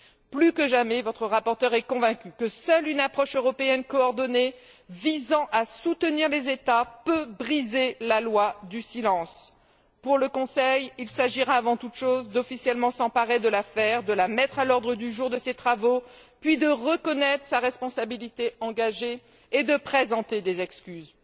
Plus que jamais, votre rapporteure est convaincue que seule une approche européenne coordonnée visant à soutenir les États peut briser la loi du silence. Pour le Conseil, il s'agira avant tout chose de s'emparer officiellement de l'affaire, de la mettre à l'ordre du jour de ses travaux, puis de reconnaître sa responsabilité engagée, et, enfin, de présenter des excuses.